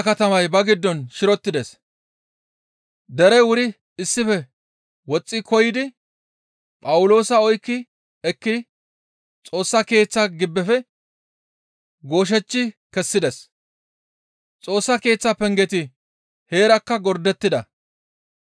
Kumeththa katamay ba giddon shirotides; derey wuri issife woxxi koyidi Phawuloosa oykki ekki Xoossa Keeththa gibbefe gooshechchi kessides; Xoossa Keeththa pengeti heerakka gordettida.